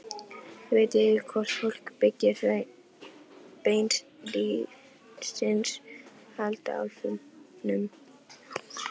Ég veit ekki hvort fólk byggir þau beinlínis handa álfunum.